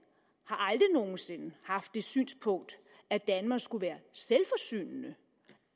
har sinde haft det synspunkt at danmark skulle være selvforsynende